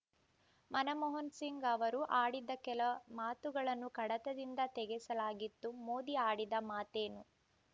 ಮನಮೋಹನಸಿಂಗ್‌ ಅವರು ಆಡಿದ್ದ ಕೆಲ ಮಾತುಗಳನ್ನು ಕಡತದಿಂದ ತೆಗೆಸಲಾಗಿತ್ತು ಮೋದಿ ಆಡಿದ ಮಾತೇನು